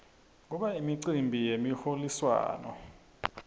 kuba imicimbi yemiholiswano